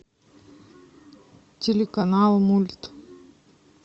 телеканал мульт